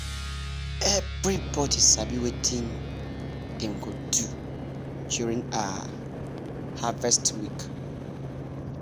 everybody sabi wetin dem go do during um harvest week.